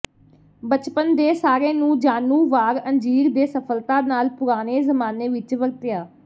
ਬਚਪਨ ਦੇ ਸਾਰੇ ਨੂੰ ਜਾਣੂ ਵਾਰ ਅੰਜੀਰ ਦੇ ਸਫਲਤਾ ਨਾਲ ਪੁਰਾਣੇ ਜ਼ਮਾਨੇ ਵਿਚ ਵਰਤਿਆ